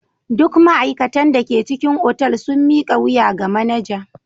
Duk ma'aikatan da ke cikin otal sun mika wuya ga manaja.